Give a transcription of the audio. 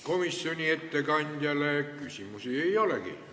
Komisjoni ettekandjale küsimusi ei olegi.